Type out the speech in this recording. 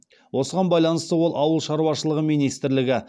осыған байланысты ол ауыл шаруашылығы министрлігі